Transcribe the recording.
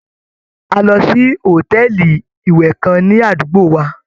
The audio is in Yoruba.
A lọ sí hòtẹ́ẹ̀lì ìwẹ̀ kan ní àdúgbò wa.